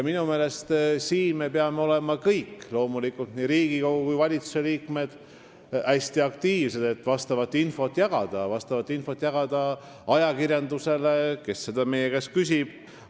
Minu meelest peame me kõik, loomulikult nii Riigikogu kui ka valitsuse liikmed, olema hästi aktiivsed, et jagada seda infot ajakirjandusele, kui seda meie käest küsitakse.